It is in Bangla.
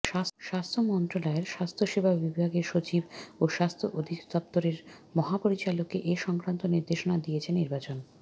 স্বাস্থ্য মন্ত্রণালয়ের স্বাস্থ্যসেবা বিভাগের সচিব ও স্বাস্থ্য অধিদফতরের মহাপরিচালককে এ সংক্রান্ত নির্দেশনা দিয়েছেন নির্বাচন